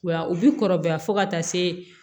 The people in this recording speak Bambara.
Wa u bi kɔrɔbaya fo ka taa se